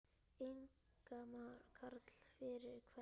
Ingimar Karl: Fyrir hvern?